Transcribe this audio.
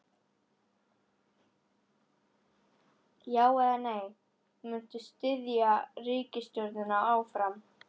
Já, eða nei, munt þú styðja ríkisstjórnina áfram?